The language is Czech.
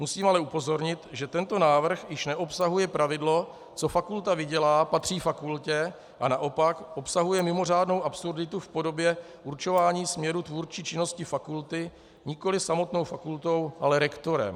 Musím ale upozornit, že tento návrh již neobsahuje pravidlo "co fakulta vydělá, patří fakultě", a naopak obsahuje mimořádnou absurditu v podobě určování směru tvůrčí činnosti fakulty nikoli samotnou fakultou, ale rektorem.